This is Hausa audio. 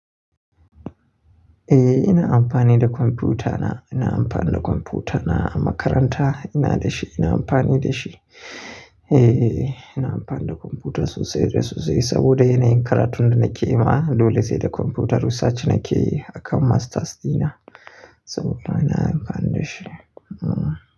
Eh, ina amfani da kwamfutana. Ina amfani da kwamfutana a makaranta ina da shi, ina amfani da shi. Eh, ina amfani da kwamfuta sosai da sosai saboda yanayin karatun da nake yi ma dole sai da kwamfutar. Research nake yi a kan masters dina saboda ina amfani da shi.